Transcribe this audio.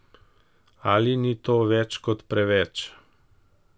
Ali ni to več kot preveč?